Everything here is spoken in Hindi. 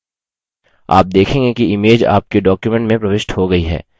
आप देखेंगे कि image आपके document में प्रविष्ट हो गयी है